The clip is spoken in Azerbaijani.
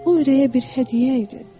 O ürəyə bir hədiyyə idi.